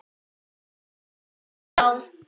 Snýst þá